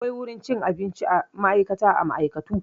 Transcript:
Akwai wurin cin abincin ma'aikata a ma'aikatu.